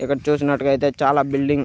ఇక్కడ చూసినట్టుగయితే చాలా బిల్డింగ్ --